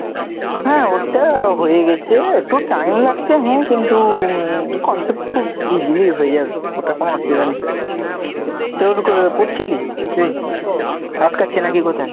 হ্যাঁ ওটা হয়ে গেছে, একটু time লাগছে, হ্যাঁ কিন্তু উম concept খুব easily হয়ে যাবে, ওটা কোনও অসুবিধা নেই তোর কি বলে, পড়ছিলি? আটকাচ্ছে নাকি কোথায়?